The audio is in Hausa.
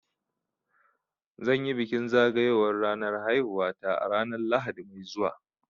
Zan yi bikin zagayowar ranar haihuwata ranar Lahadi mai zuwa